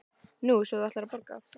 Nú, svo þú ætlar að borga?